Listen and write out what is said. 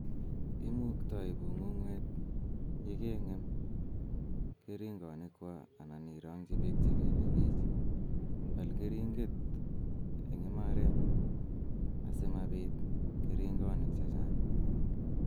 Imuktai bung'ung'wet yekeng'em keringonikwa anan irongji beek che belebich. Bal keringet eng imaret asimabit keringonik che chang'